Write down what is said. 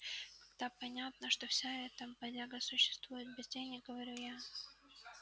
тогда понятно как вся эта бодяга существует без денег говорю я